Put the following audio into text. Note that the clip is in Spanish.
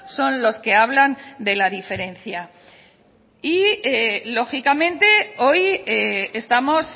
son los que hablan de la diferencia lógicamente hoy estamos